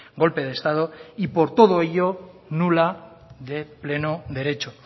golpe de estado y por todo ello nula de pleno derecho